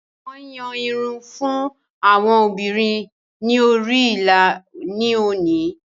Wọn yàn irun fún àwọn obìnrin ni orí ìlà ni oni